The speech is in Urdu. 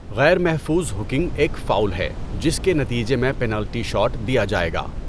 غیر محفوظ ہکنگ ایک فاؤل ہے جس کے نتیجے میں پنالٹی شاٹ دیا جائے گا۔